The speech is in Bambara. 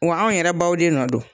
Wa anw yɛrɛ baw de nɔ don .